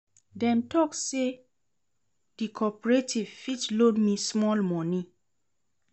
Dem tok sey di corporative fit loan me small moni.